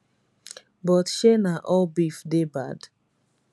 but shey na all beef dey bad